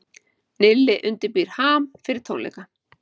Nilli undirbýr HAM fyrir tónleika